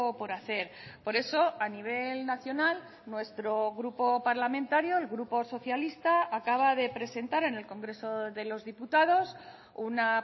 por hacer por eso a nivel nacional nuestro grupo parlamentario el grupo socialista acaba de presentar en el congreso de los diputados una